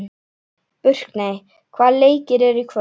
Burkney, hvaða leikir eru í kvöld?